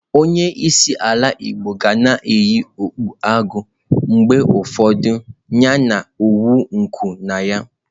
Onye isi ala igbo ga na-eyi okpu agụ, mgbe ụfọdụ anyị na-awụ nku na ya.